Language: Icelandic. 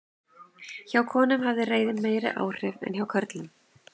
Hjá konum hafði reiðin meiri áhrif en hjá körlum.